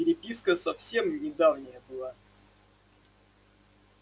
переписка совсем недавняя была